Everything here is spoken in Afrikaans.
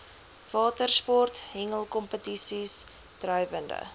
watersport hengelkompetisies drywende